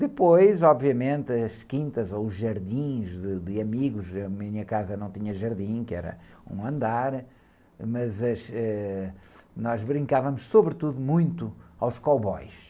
Depois, obviamente, as quintas ou os jardins de, de amigos, a minha casa não tinha jardim, que era um andar, mas as, ãh, nós brincávamos, sobretudo, muito aos cowboys.